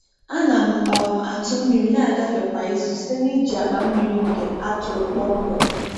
A na m um atụ mmiri na-agafe kwa izu site n’iji akpa mmiri nke a tụrụ kpọmkwem.